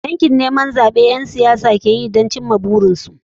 Yakin neman zaɓe abunda ƴan siyasa sukeyi ne domin cimma burikansu.